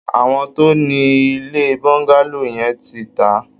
Àwọn tó ni ilé Bungalow yẹn ti tà á